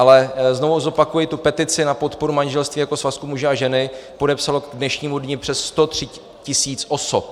Ale znovu zopakuji, tu petici na podporu manželství jako svazku muže a ženu podepsalo k dnešnímu dni přes 103 tisíc osob.